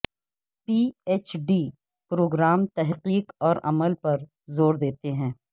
پی H D program تحقیق اور عمل پر زور دیتے ہیں